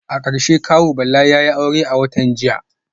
A karshe kawu Bala yayi aure a watan jiya